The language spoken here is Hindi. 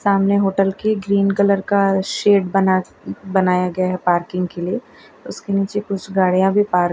सामने होटल के ग्रीन कलर का शेड बना बनाया गया है पार्किंग के लिए उसके नीचे कुछ गाड़िया भी पार्क --